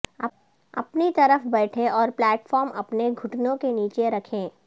اپنی طرف بیٹھے اور پلیٹ فارم اپنے گھٹنوں کے نیچے رکھیں